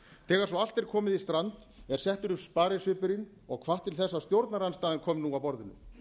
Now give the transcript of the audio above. þegar svo allt er komið í strand er settur upp sparisvipurinn og hvatt til þess að stjórnarandstaðan komi nú að borðinu